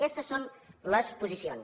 aquestes són les posicions